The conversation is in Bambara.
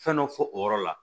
Fɛn dɔ fɔ o yɔrɔ la